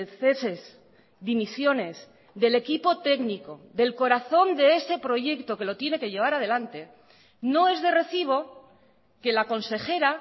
ceses dimisiones del equipo técnico del corazón de ese proyecto que lo tiene que llevar adelante no es de recibo que la consejera